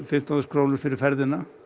fimmtán þúsund krónur fyrir ferðina